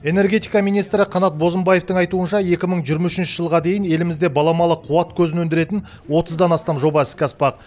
энергетика министрі қанат бозымбаевтың айтуынша екі мың жиырма үшінші жылға дейін елімізде баламалы қуат көзін өндіретін отыздан астам жоба іске аспақ